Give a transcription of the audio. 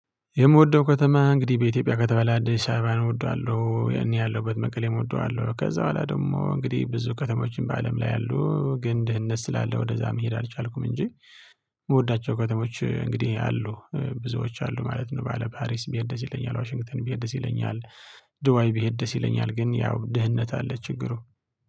የምወደው ከተማ እንግዲህ በኢትዮጵያ ከተባለ አዲስ አበባን እወደዋለሁ እኔ ያለሁበት መቀሌ እወደዋለው ከዛ በኋላ ደግሞ እንግዲህ ብዙ ከተሞችን በአለም ላይ ያሉ ግን ድህነት ስላለ ወደዛ መሄድ አልቻልኩም እንጂ። የምወዳቸው ከተሞች እንግዲህ አሉ ብዙዎች አሉ ማለት ነው። ባለ ፓሪስ ብሄድ ይለኛል ዋሽንግተን ብሄድ ይለኛል። ዱባይ ብሄድ ደስ ይለኛል ግን ያው ድህነት አለ ችግሩ